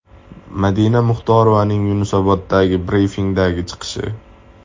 Madina Muxtorovaning Yunusoboddagi brifingdagi chiqishi.